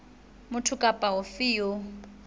motho ofe kapa ofe eo